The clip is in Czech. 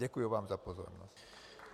Děkuji vám za pozornost.